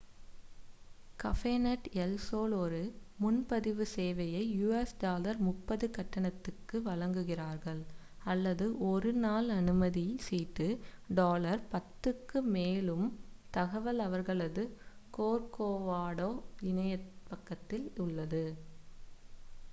கபேநெட் El Sol ஒரு முன்பதிவு சேவையை us$ 30 கட்டணத்திற்கு வழங்குகிறார்கள் அல்லது ஒரு1 நாள் அனுமதி சீட்டு $10 க்கு; மேலும் தகவல் அவர்களது கோர்கோவாடோ இணையப் பக்கத்தில் உள்ளது